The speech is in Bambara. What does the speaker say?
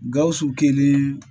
Gawusu kelen